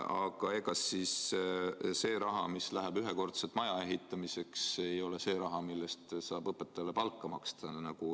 Aga ega siis see raha, mis läheb ühekordselt maja ehitamiseks, ei ole see raha, mille eest saab õpetajale palka maksta.